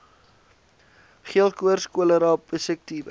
geelkoors cholera pessiekte